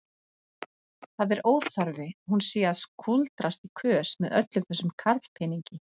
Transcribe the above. Það er óþarfi hún sé að kúldrast í kös með öllum þessum karlpeningi.